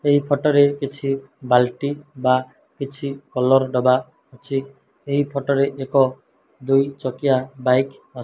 ଏହି ଫଟୋ ରେ କିଛି ବାଲଟି ବା କିଛି କଲର୍ ଡ଼ବା ଅଛି ଏହି ଫଟୋ ରେ ଏକ ଦୁଇ ଚକିଆ ବାଇକ୍ ଅ --